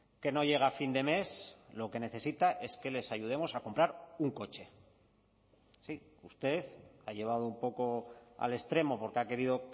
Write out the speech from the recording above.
que no llega a fin de mes lo que necesita es que les ayudemos a comprar un coche sí usted ha llevado un poco al extremo porque ha querido